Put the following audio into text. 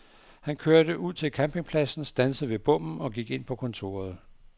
Han kørte ud til campingpladsen, standsede ved bommen og gik ind på kontoret.